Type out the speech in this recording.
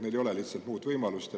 Neil lihtsalt ei ole muud võimalust.